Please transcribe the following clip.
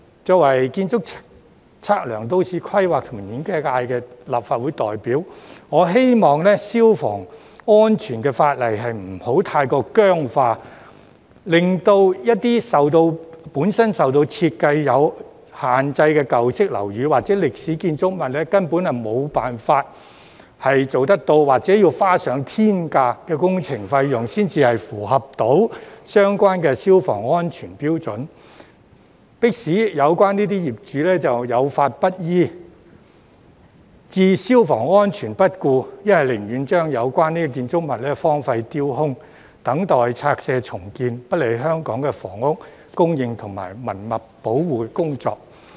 作為建築、測量、都市規劃及園境界的立法會代表，我希望消防安全法例不會過於僵化，以致一些本身在設計上有限制的舊式樓宇或歷史建築物，根本無法符合相關消防安全標準，或需花上天價工程費，才能符合相關標準，迫使有關業主有法不依，把消防安全置之不顧，又或寧願把有關建築物荒廢丟空，等待拆卸重建，不利香港的房屋供應和文物保護工作。